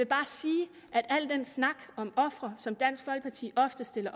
bare sige at al den snak om ofre som dansk folkeparti ofte stiller